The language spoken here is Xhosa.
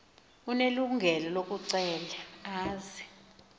unelungelo lokucela aze